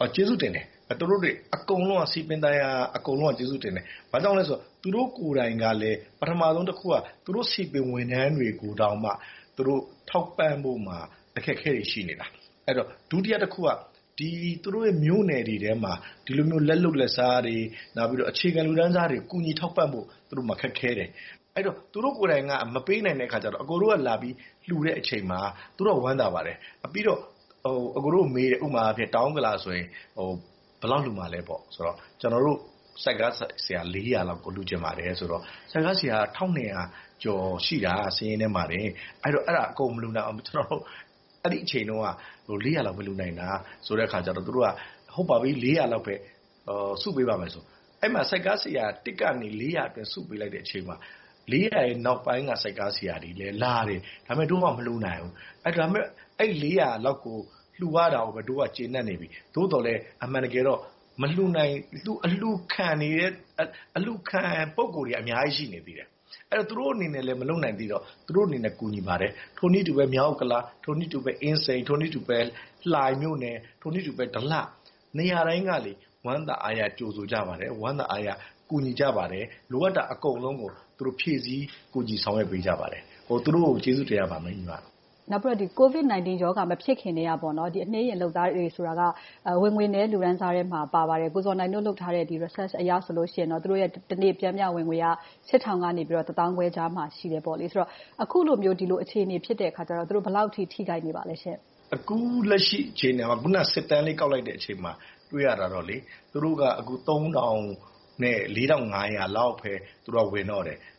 က ကျေးဇူးတင်တယ်။ သူတို့တွေ အကုန်လုံးက စည်ပင်သာယာရေး အကုန်လုံးက ကျေးဇူးတင်တယ်။ ဘာကြောင့်လဲဆိုတော့ သူတို့ကိုယ်တိုင်ကလဲ ပထမဦးဆုံးတခုက သူတို့စည်ပင်ဝန်ထမ်းတွေကိုတောင် သူတို့ထောက်ပံ့ဖို့တောင် အခက်အခဲတွေ ရှိနေတယ်။ ဒုတိယတခုက သူုတို့မြို့နယ်တွေထဲမှာ ဒီလိုမျိုး လက်လုပ်လက်စားတွေ၊ အခြေခံလူတန်းစားတွေကို ကူညီထောက်ပံ့ဖို့ သူတို့မှာ ခက်ခဲတယ်။ အဲဒီတော့ သူတို့ကိုယ်တိုင်က မပေးနိုင်တော့ အကိုတို့က လာပြီးလှူတဲ့အချိန်မှာ သူုတို့က ဝမ်းသာပါတယ်။ ပြီးတော့ အကိုတို့မေးတယ် - ဥပမာအားဖြင့် တောင်ဥက္ကလာဆိုရင် ဘယ်လောက်လှူမှာလဲပေါ့။ ကျနော်တို့ ဆိုက်ကားဆရာ လေးရာလောက်ကို လှူချင်ပါတယ်ဆိုတော့ ဆိုက်ကားဆရာက တစ်ထောင့်နှစ်ရာကျော်ရှိတာ စာရင်းထဲမှာ - အဲဒါကို အကုန်မလှူနိုင်ဘူး။ အဲဒီအချိန်တုန်းက လေးရာလောက်ပဲ လှူနိုင်တာဆိုတဲ့အခါကြတော့ - လေးရာလောက်ပဲ စုပေးပါမယ်ဆိုပြီး အဲဒီမှာ ဆိုက်ကားဆရာ တစ်ကနေ လေးရာအတွင်း စုပေးလိုက်တဲ့အချိန်မှာ လေးရာရဲ့ နောက်ပိုင်းက ဆိုက်ကားဆရာတွေလည်းလာတယ်။ ဒါပေမဲ့ ဒို့က မလှူနိုင်ဘူး။ ဒါပေမဲ့ အဲဒီ လေးရာလောက်ကိုပဲ လှူရာတာကို ဒို့ကကျေနပ်နေပြီ။ သို့သော်လဲ အမှန်တကယ်တော့ အလှူခံ ပုဂ္ဂိုလ်တွေက အများကြီး ရှိနေတယ်။ သူတို့အနေနဲ့လဲ မလုပ်နိုင်သေးတော့ သူတို့အနေနဲ့ ကူညီပါတယ်။ ထို့နည်းတူပဲ မြောက်ဥက္ကလာ၊ အင်းစိန်၊ လှိုင်မြို့နယ်၊ ဒလ နေရာတိုင်းက ဝမ်းသာအားရ ကြိုဆိုကြပါတယ်။ ဝမ်းသာအားရ ကူညီကြပါတယ်။ လိုအပ်တာ အကုန်လုံးကို ဖြည့်ဆည်းကူညီဆောင်ရွက်ပေးကြပါတယ်။ သူတို့ကို ကျေးဇူးတင်ရပါမယ်။ နောက်ပြီးတော့ ကိုဗစ်-၁၉ မဖြစ်ခင်ကတည်းက အနှေးယာဉ်လုပ်သားတွေဆိုတာက ဝင်ငွေနည်း လူတန်းစားထဲမှာ ပါပါတယ်။ ကိုဇော်နိုင်တို့ လုပ်ထားတဲ့ research အရတော့ သူတို့ရဲ့ တနေ့ပျမ်မျှဝင်ငွေက ရှစ်ထောင်ကနေ တစ်သောင်းခွဲကြားမှာ ရှိတယ်ဆိုတော့ အခုလိုမျိုး ဒီလိုအခြေအနေဖြစ်တဲ့အခါကြတော့ သူတို့ ဘယ်လောက်အထိ ထိခိုက်နေပါသလဲရှင့်။ အခုလက်ရှိအခြေအနေက အခုနစစ်တမ်း ကောက်လိုက်တဲ့အချိန်မှာ တွေ့ရတာတော့ သူတို့က သုံးထောင်နဲ့ လေးထောင်ငါးရာလောက်ပဲ ဝင်တော့တယ်။ ဒါပေ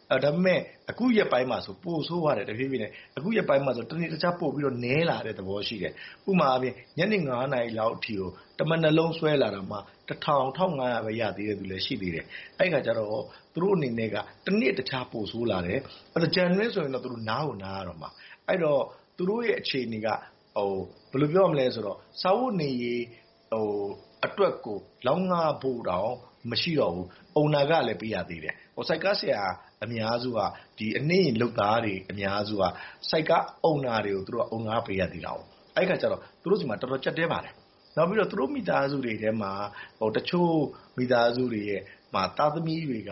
မဲ့ အခုရက်ပိုင်းမှာဆို တဖြည်းဖြည်းနဲ့ ပိုဆိုးသွားတယ်။ အခုရက်ပိုင်းအတွင်းမှာဆို တနေ့တခြား ပိုနည်းလာတဲ့သဘော ရှိတယ်။ ဥပမာအားဖြင့် ညနေ နာရီလောက်အထိ တမနက်လုံးဆွဲလာတာတောင်မှ တစ်ထောင်၊ တစ်ထောင်ငါးရာပဲ ရသေးတဲ့လူတွေ ရှိသေးတယ်။ အဲဒီအခါကြတော့ သူတို့အနေနဲ့က တစ်နေ့တစ်ခြား ပိုဆိုးလာတယ်။ သင်္ကြန်အတွင်းဆိုရင် သူတို့နားကိုနားရတော့မှာ။ အဲဒီတော့ သူတို့ရဲ့ အခြေအနေက ဘယ်လိုပြောရမလဲဆိုတော့ စားဝတ်နေရေးအတွက်ကို လောက်ငဖို့တောင် မရှိတော့ဘူး။ Owner အုံနာခံလည်း ပေးရသေးတယ်။ ဆိုက်ကားဆရာ အများစုက အနှေးယာဉ်လုပ်သားတွေ အများစုက ဆိုက်ကားအုံနာတွေကို အုံနာခပေးရသေးတယ်။ အဲဒီအခါကြတော့ သူတို့တွေမှာ တော်တော်လေး ကြပ်တည်းပါတယ်။ နောက်ပြီးတော့ သူတို့မိသားစုတွေထဲမှာ အချို့မိသားစုတွေမှာ သားသမီးတွေက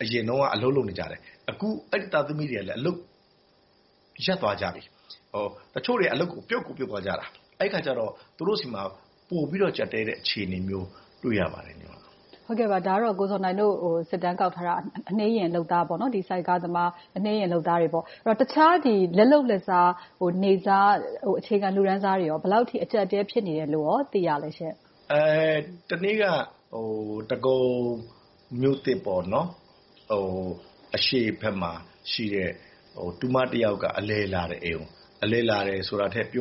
အရင်တုန်းက အလုပ်လုပ်နေကြတယ်။ အခု အဲဒီသားသမီးတွေကလည်း အလုပ်ရပ်သွားကြပြီ။ တချို့တွေက အလုပ်ကိုပြုတ်သွားကြတာ။ အဲဒီအခါကြတော့ သူတို့ဆီမှာ ပိုပြီးတော့ ကြပ်တည်းတဲ့အခြေအနေမျိုးတွေ တွေ့ရပါတယ်။ ဒါကတော့ ကိုဇော်နိုင်တို့ စစ်တမ်းကောက်ထားတာ အနှေးယာဉ်လုပ်သား၊ ဆိုက်ကားသမား အနှေးယာဉ်လုပ်သားတွေ။ တခြားလက်လုပ်လက်စား နေ့စားအခြေခံလူတန်းစားတွေကော ဘယ်လောက်အထိ အကြပ်အတည်း ဖြစ်နေတယ်လို့ သိရပါလဲရှင့်။ တနေ့က ဒဂုံမြို့သစ် အရှေ့ဘက်မှာရှိတဲ့ တူမတစ်ယောက်က အလည်လာတယ်။ အလည်လာတာလို့ ပြောတာထက် အကူ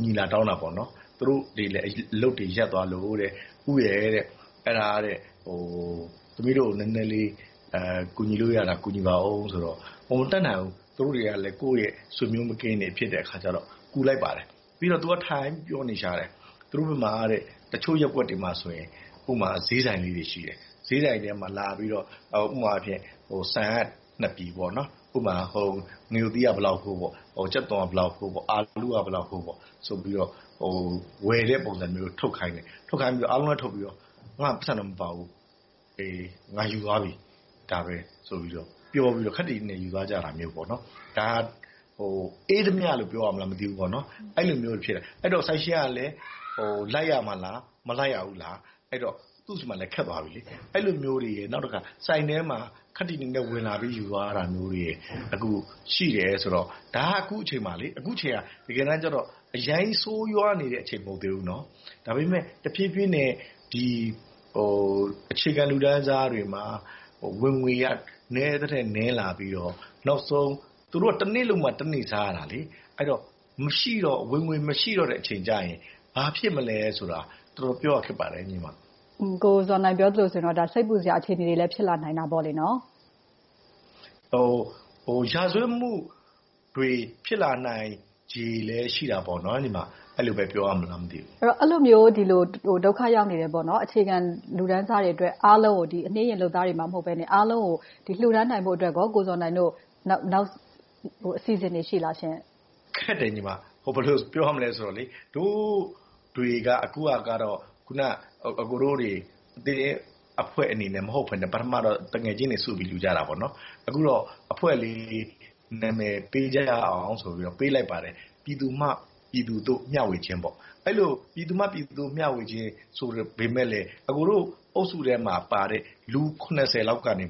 အညီ လာတောင်းတယ်။ သူုတို့တွေလည်း အလုပ်တွေရပ်သွားလို့ “ဦးရယ် သမီးတို့ကို နည်းနည်းလေး ကူညီလို့ရတာ ကူညီပါအုံး” ဆိုပြီး တောင်းဆိုတယ်။ မတတ်နိုင်ဘူး သူတို့တွေကလဲ ကိုယ့်ရဲ့ဆွေမျိုးမကင်းသူတွေဖြစ်တော့ ကူလိုက်ပါတယ်။ ပြီးတော့ သူက ထိုင်ပြီးပြောနေရှာတယ်။ သူတို့ဘက်မှာ တချို့ရပ်ကွက်တွေမှာဆိုရင် ဥပမာ ဈေးဆိုင်လေးတွေ ရှိတယ်။ ဈေးဆိုင်ထဲမှာလာပြီးတော့ ဥပမာ ဆန်က နှစ်ပြည်၊ ငရုတ်သီးက ဘယ်လောက်ဖိုး၊ ကြက်သွန်က ဘယ်လောက်ဖိုး၊ အာလူးက ဘယ်လောက်ဖိုး စသည်ဖြင့် ဝယ်တဲ့ပုံစံမျိုး ထုတ်ခိုင်းတယ်။ အားလုံးထုတ်ခိုင်းပြီးတော့ ငါ့မှာ ပိုက်ဆံမပါဘူး။ ငါယူသွားပြီး ဒါပဲဆိုပြီး ပြောကာ ခပ်တည်တည်နဲ့ ယူသွားတာမျိုး။ ဒါကို အေးဓမြလို့ ပြောရမလား မသိဘူး။ အဲဒီလိုမျိုးတွေ ဖြစ်နေတယ်။ ဆိုင်ရှင်ကလဲ လိုက်ရမှာလား၊ မလိုက်ရဘူးလား။ အဲဒီတော့ သူ့ဆီမှာလဲ ခက်သွားပြီ။ အဲဒီလိုမျိုးတွေနဲ့ နောက်တခါ ဆိုင်ထဲကို ခပ်တည်တည်နဲ့ ဝင်လာပြီး ယူသွားတာမျိုးတွေ အခုရှိနေတယ်ဆိုတော့ ဒါက အခုအချိန်က တကယ်တမ်းကြတော့ အရမ်းကြီးဆိုးဝါးနေတဲ့ အချိန်မဟုတ်သေးဘူး။ ဒါပေမဲ့ တဖြည်းဖြည်းနဲ့ အခြေခံလူတန်းစားတွေမှာ ဝင်ငွေက နည်းသထက်နည်းလာပြီးတော့ နောက်ဆုံး သူတို့တွေက တနေ့လုပ်မှ တနေ့စားရတာ။ ဝင်ငွေမရှိတော့တဲ့အချိန်ကြရင် ဘာဖြစ်မလဲဆိုတာ တော်တော်ပြောရခက်ပါတယ်။ ကိုဇော်နိုင်ပြောသလိုဆိုရင် စိတ်ပူစရာ အခြေအနေတွေလဲ ဖြစ်လာနိုင်တာပေါ့။ ရာဇဝတ်မှုတွေ ဖြစ်လာနိုင်ခြေလဲ ရှိတာပေါ့။ အဲဒီလိုပဲ ပြောရမလား မသိဘူး။ အဲဒီလိုမျိုး ဒုက္ခရောက်နေတဲ့ အခြေခံလူတန်းစားတွေအတွက် အနှေးယာဉ်လုပ်သားတွေမှ မဟုတ်ဘဲ။ အားလုံးကို လှူဒါန်းနိုင်ဖို့အတွက် ကိုဇော်နိုင်တို့ နောက်အစီအစဉ်တွေ ရှိပါလားရှင့်။ ခက်တယ်။ ဘယ်လို ပြောရမလဲဆိုတော့ ဒို့တွေကတော့ အခုန အကိုတို့ အဖွဲ့အနေနဲ့ မဟုတ်ဘဲနဲ့ ပထမတော့ သူငယ်ချင်းတွေစုပြီး လှူကြတာ။ အခုတော့ အဖွဲ့လေး နာမည်ပေးရအောင်ဆိုပြီး ပေးလိုက်ပါတယ်။ “ဲပြည်သူမှ ပြည်သူသို့ မျှဝခြင်း” ဆိုပေမယ့်လဲ အကိုတို့အုပ်စုထဲမှာပါတဲ့ လူ လောက်ကနေ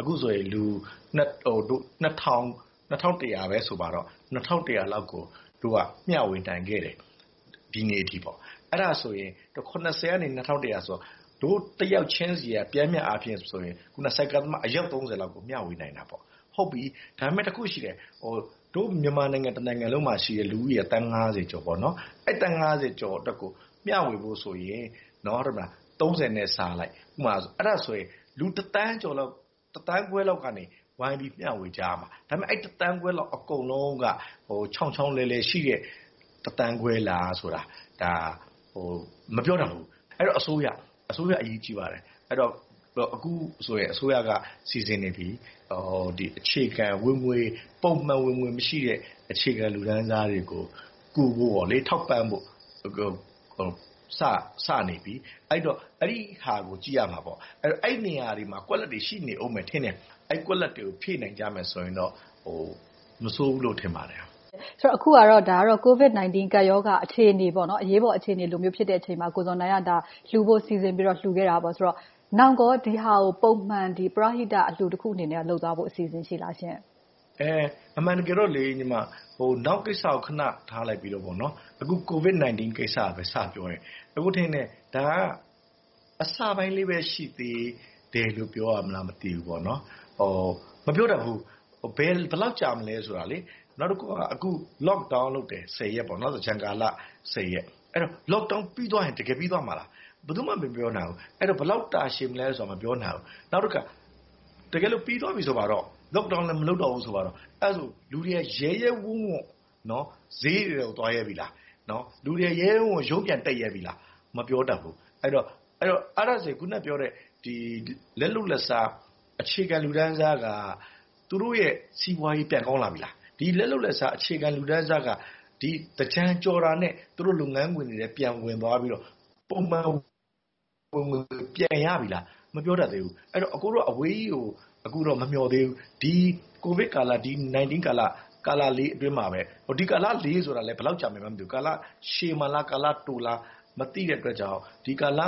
အခုဆို လူ လောက်ကို ဒို့က မျှဝေနိုင်ခဲ့တယ်။ ဒီနေ့အထိပေါ့။ အဲဒါဆိုရင် ကနေ ဆိုတော့ ဒို့တစ်ယောက်ချင်းဆီက ပျမ်းမျှအားဖြင့်ဆိုရင် အယောက် လောက်ကို မျှဝေနိုင်တာပေါ့။ ဟုတ်ပြီ ဒါပေမဲ့ တစ်ခုရှိတယ် - မြန်မာနိုင်ငံတနိုင်ငံလုံးမှာရှိတဲ့ လူဦးရေက သန်း ကျော်။ သန်း ကျော်အတွက်ကို မျှဝေဖို့ဆိုရင် နဲ့စားလိုက် လူ သန်းခွဲလောက်ကနေ ဝိုင်းပြီးမျှဝေကြရမှာ။ ဒါပေမဲ့ အဲဒီ သန်းခွဲ အကုန်လုံးက ချောင်ချောင်လည်လည်ရှိတဲ့ သန်းခွဲလာဆိုတာ အဲဒါ မပြောတတ်ဘူး။ အဲဒီတော့ အစိုးရ အရေးကြီးပါတယ်။ အခုဆိုရင် အစိုးရက စီစဉ်နေပြီ။ အခြေခံ ပုံမှန်ဝင်ငွေ မရှိတဲ့ အခြေခံလူတန်းစားတွေကို ကူညီဖို့ ထောက်ပံ့ဖို့ စနေပြီ။ အဲဒီတော့ အဲဒီဟာကို ကြည့်ရမှာပေါ့။ အဲဒီနေရာတွေမှာ ကွက်လပ်တွေ ရှိနေအုံးမယ်ထင်တယ်။ အဲဒီကွက်လပ်တွေကို ဖြည့်နိုင်ကြမယ်ဆိုရင်တော့ မဆိုးဘူးလို့ ထင်ပါတယ်။ အခုဟာကတော့ ကိုဗစ်-၁၉ ကပ်ရောဂါ အရေးပေါ်အခြေအနေ ဖြစ်တဲ့အချိန်မှာ ကိုဇော်နိုင်က လှူဖို့စီစဉ်ပြီးတော့ လှူခဲ့တာပေါ့။ နောက်ကော ဒီဟာကို ပုံမှန်ပရဟိတ အလှူတစ်ခုအနေနဲ့ လုပ်သွားဖို့ အစီအစဉ် ရှိပါသလားရှင့်။ အမှန်တကယ်တော့ နောက်ကိစ္စကို ခဏထားပြီးတော့ အခု ကိုဗစ်-၁၉ ကိစ္စပဲ စပြောရင် - အကိုထင်တယ် ဒါက အစပိုင်းလေးပဲ ရှိသေးတယ်လို့ပဲ ပြောရမလား မသိဘူး။ မပြောတတ်ဘူး။ ဘယ်လောက်ကြာမလဲဆိုတာ။ နောက်တခုက အခု lock down လုပ်တယ်။ သင်္ကြန်ကာလ ရက်။ Lock down ပြီးသွားရင် တကယ်ပြီးသွားမှာလား။ ဘယ်သူမှ မပြောနိုင်ဘူး။ ဘယ်လောက် တာရှည်မလဲဆိုတာ မပြောနိုင်ဘူး။ နောက်တခါ တကယ်လို့ ပြီးသွားပြီဆိုပါတော့ Lock down လဲ မလုပ်တော့ဘူး ဆိုပါတော့ လူတွေက ရဲရဲဝံ့ဝံ့ ဈေးတွေထဲကို သွားရဲသေးလား။ လူတွေ ရဲရဲဝံ့ဝံ့ ရုံးပြန်တက်ရဲပြီလား။ မပြောတတ်ဘူး။ အဲဒီတော့ အခုနပြောတဲ့ လက်လုပ်လက်စား အခြေခံလူတန်းစားက သူတို့ရဲ့ စီးပွားရေးပြန်ကောင်းလာပြီလား။ ဒီလက်လုပ်လက်စား အခြေခံလူတန်းစားက သင်္ကြန်ကျော်တာနဲ့ သူတို့လုပ်ငန်းခွင်တွေထဲ ပြန်ဝင်သွားပြီးတော့ ပုံမှန်ဝင်ငွေ ပြန်ရပြီလား။ မပြောတတ်သေးဘူး။ အကိုတို့က အဝေးကြီးကို အခုတော့ မမျှော်သေးဘူး။ ဒီကိုဗစ်ကာလ၊ ဒီ ၁၉ ကာလလေး အတွင်းမှာပဲ - ဒီကာလလေးဆိုတာလဲ ဘယ်လောက်ကြာမယ် မသိသေးဘူး။ ကာလရှည်မှာလား၊ တိုမှာလား မသိတဲ့အတွက်ကြောင့် ဒီကာလ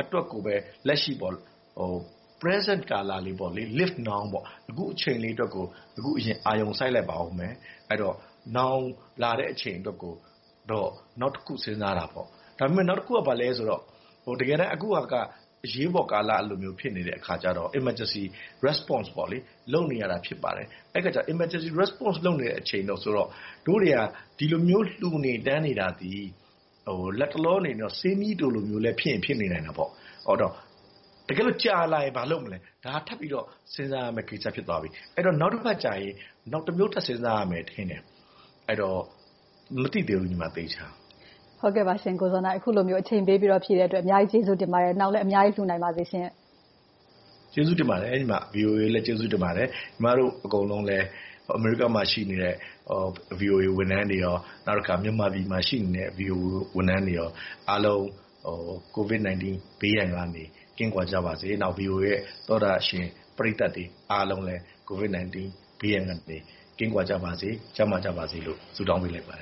အတွက်ကိုပဲ လက်ရှိ Present ကာလလေး - Live Now ပေါ့ - အခုအချိန်လေးအတွက်ကို အာရုံစိုက်လိုက်ပါအုံးမယ်။ အဲဒီတော့ နောင်လာတဲ့ အချိန်အတွက်ကိုတော့ နောက်တခု စဉ်းစားကြတာပေါ့။ ဒါပေမဲ့ နောက်တခုက ဘာလဲဆိုတော့ တကယ်တမ်း အခုဟာက အရေးပေါ်ကာလလို့ ဖြစ်နေတဲ့အခါဖြစ်တော့ Emergency Response လုပ်နေရတာ ဖြစ်ပါတယ်။ အဲဒီအခါကြတော့ Emergency Response လုပ်နေတဲ့ အချိန်ဆိုတော့ ဒို့တွေက ဒီလိုမျိုး လှူနေတန်းနေတာသည် လက်တလောအနေနဲ့ ဆေးမြီးတိုလိုမျိုး ဖြစ်ရင်ဖြစ်နေမှာပေါ့။ တကယ်လို့ ကြာလာရင် ဘာလုပ်မလဲ။ ဒါက ထပ်ပြီးတော့ စဉ်းစားရမယ့်ကိစ္စ ဖြစ်သွားပြီ။ အဲဒီတော့ နောက်တခါကြရင် နောက်တမျိုး ထပ်စဉ်းစားရမယ်ထင်တယ်။ အဲဒီတော့ သေချာ မသိသေးဘူး ညီမ။ အခုလိုမျိုး အချိန်ပေးပြီး ဖြေကြားပေးတဲ့အတွက် အများကြီးကျေးဇူးတင်ပါတယ်။ နောင်လဲ အများကြီး ကူညီနိုင်ပါစေရှင့်။ ကျေးဇူးတင်ပါတယ်။ VOA ကိုလည်း ကျေးဇူးတင်ပါတယ်။ ညီမတို့ အကုန်လုံးလည်း အမေရိကမှာရှိနေတဲ့ VOA ဝန်ထမ်းတွေနဲ့ မြန်မာပြည်မှာရှိနေတဲ့ VOA ဝန်ထမ်းတွေအားလုံး ကိုဗစ်-၁၉ ဘေးရန်ကနေ ကင်းကွာကြပါစေ။ VOA ရဲ့ သောတရှင်ပရိသတ်တွေအားလုံးလည်း ကိုဗစ်-၁၉ ဘေးရန်ကနေ ကင်းကွာကြပါစေ။ ကျန်းမာကြပါစေလို့ ဆုတောင်းပေးလိုက်ပါတယ်